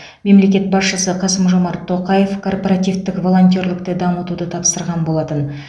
мемлекет басшысы қасым жомарт тоқаев корпоративтік волонтерлікті дамытуды тапсырған болатын